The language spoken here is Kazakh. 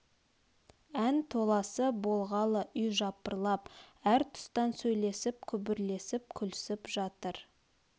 ән толасы болғалы үй жапырлап әр тұстан сөйлесіп күбірлесіп күлсіп жатыр